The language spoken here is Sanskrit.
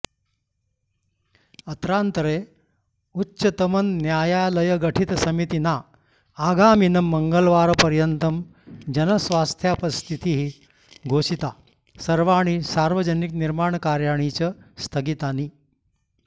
अत्रान्तरे उच्चतमन्यायालयगठितसमितिना आगामिनं मङ्गलवारपर्यन्तं जनस्वास्थ्यापत्स्थितिः घोषिता सर्वाणि सार्वजनिकनिर्माणकार्याणि च स्थगितानि